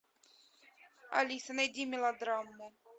алиса найди мелодраму